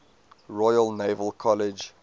royal naval college